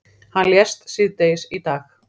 Hann lést síðdegis í dag.